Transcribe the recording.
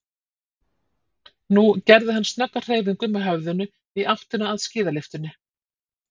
Nú gerði hann snögga hreyfingu með höfðinu í áttina að skíðalyftunni.